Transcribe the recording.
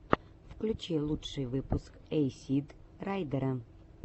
включи лучший выпуск эйсид райдера